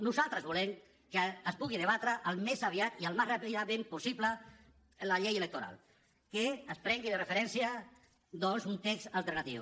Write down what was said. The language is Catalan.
nosaltres volem que es pugui debatre al més aviat i al més ràpidament possible la llei electoral que es prengui de referència doncs un text alternatiu